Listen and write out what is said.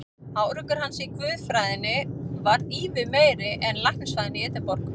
Árangur hans í guðfræðinni varð ívið meiri en í læknisfræðinni í Edinborg.